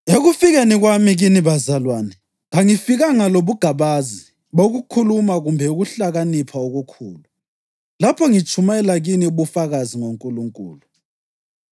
Ekufikeni kwami kini bazalwane, kangifikanga lobugabazi bokukhuluma kumbe ukuhlakanipha okukhulu lapho ngitshumayela kini ubufakazi ngoNkulunkulu.